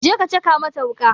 Je ka caka mata wuƙa!